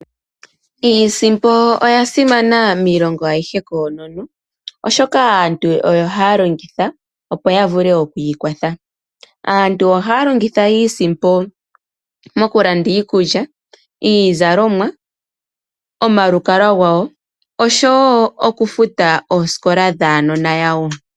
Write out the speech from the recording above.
Iisimpo oya simana miilongo ayihe kookono oshoka aantu oyo haya longitha opo ya vule okwiikwatha. Aantu oha ya longitha iisimpo mokulanda iikulya, iizalomwa, omalukalwa gawo oshowo okufuta oosikola dhuunona wawo.